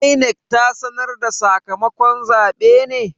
INEC ta sanar da sakamakon zabe ne?